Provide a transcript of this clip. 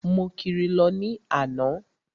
Mo kiri lọ ní àná.